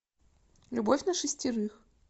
любовь на шестерых